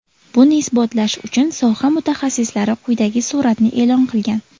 Buni isbotlash uchun soha mutaxassislari quyidagi suratni e’lon qilgan.